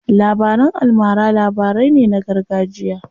Labaran almara labarai ne na gargajiya.